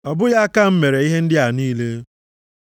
Ọ bụghị aka m mere ihe ndị a niile?’ + 7:50 \+xt Aịz 66:1,2\+xt*